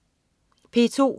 P2: